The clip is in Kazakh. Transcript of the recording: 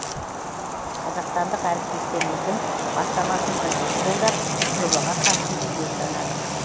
қазақстандық әріптестеріміздің бастамасын бірден қолдап жобаға қатысуды жөн санадық